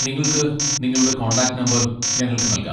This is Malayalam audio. നിങ്ങൾക്ക് നിങ്ങളുടെ കോൺടാക്റ്റ് നമ്പർ ഞങ്ങൾക്ക് നൽകാം.